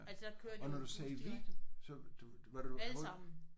Og når du sagde vi så du du var du alle